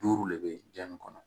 Duuru le bɛ ja nin kɔnɔ